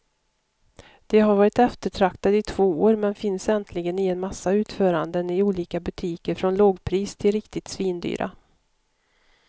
De har varit eftertraktade i två år, men finns äntligen i en massa utföranden i olika butiker från lågpris till riktigt svindyra.